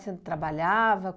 Você não trabalhava?